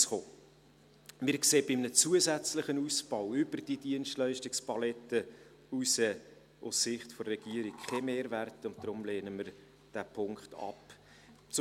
Wir sehen bei einem zusätzlichen Ausbau über diese Dienstleistungspalette hinaus aus Sicht der Regierung keinen Mehrwert und lehnen diesen Punkt deshalb ab.